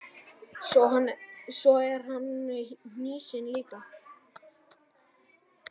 Svo er hann hnýsinn líka.